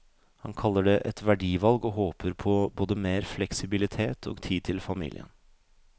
Han kaller det et verdivalg og håper på både mer fleksibilitet og tid til familien.